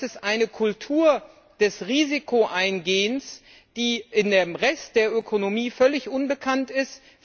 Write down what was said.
Das ist eine Kultur des Risikoeingehens, die im Rest der Ökonomie völlig unbekannt ist.